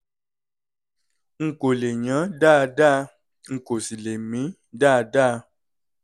n kò lè yán dáadáa n kò sì lè mí dáadáa